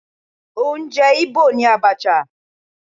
Oúnjẹ Igbo ni Abacha